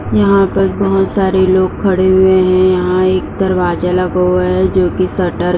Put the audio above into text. यहाॅं पर बहोत सारे लोग खड़े हुए हैं। यहाॅं एक दरवाजा लगा हुआ है जोकि शटर --